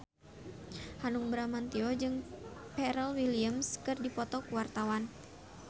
Hanung Bramantyo jeung Pharrell Williams keur dipoto ku wartawan